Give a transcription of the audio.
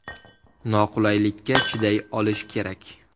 Noqulaylikka chiday olish kerak.